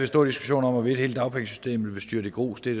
stor diskussion om hvorvidt hele dagpengesystemet ville styrte i grus det